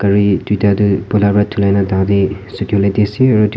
Gari duida tuh poila para dhulaina tatey sukhevole dhi ase aro et--